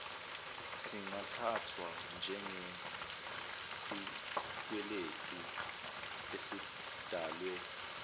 singathathwa njengesikweletu esidalwe